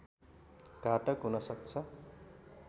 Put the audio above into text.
घातक हुन सक्छ